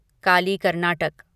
Kali Karnataka